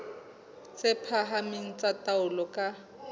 tse phahameng tsa taolo ka